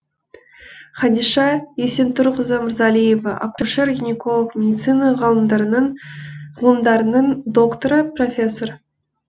хадиша есентұрқызы мырзалиева акушер гинеколог медицина ғылымдарының докторы профессор